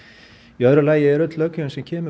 í öðru lagi er öll löggjöfin sem kemur